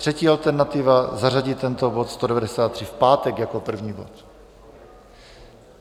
Třetí alternativa: zařadit tento bod 193 v pátek jako první bod.